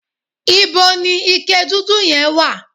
íbo ni ike dúdú yẹn wà?